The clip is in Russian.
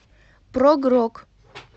прог рок